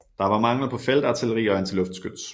Der var mangel på feltartilleri og antiluftskyts